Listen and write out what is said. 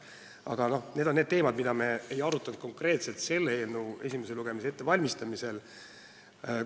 Aga need on teemad, mida me konkreetselt selle eelnõu esimese lugemise ettevalmistamisel ei arutanud.